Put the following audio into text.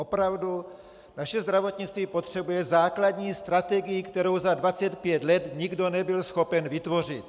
Opravdu naše zdravotnictví potřebuje základní strategii, kterou za 25 let nikdo nebyl schopen vytvořit.